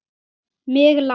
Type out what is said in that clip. Mig lang